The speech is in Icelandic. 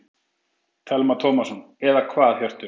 Telma Tómasson: Eða hvað Hjörtur?